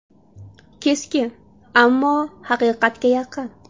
Keskin, ammo haqiqatga yaqin.